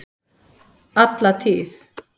Alla tíð!